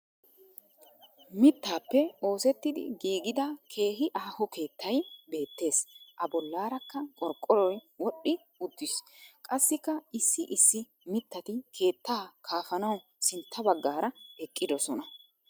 Mittappe oosetidi gigidaa kehi aho keettay beettees a bollaarakka qorqqoroy wodhi uuttis qassika issi issi mittati keettaa kaafanawu sintta bagaara eqidosona